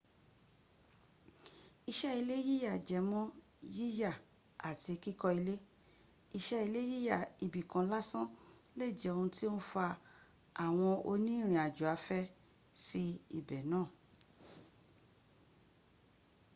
iṣẹ́ ilé yíyà jęmọ́ yíyà àti kíkọ́ ilé. iṣẹ́ ile yíyà ibi kan lásán lè jẹ́ ohun tó ń fa àwọn oní ìrìn àjò afẹ́ sí ibi náà